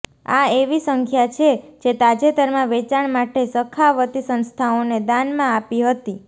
આ એવી સંખ્યા છે જે તાજેતરમાં વેચાણ માટે સખાવતી સંસ્થાઓને દાનમાં આપી હતી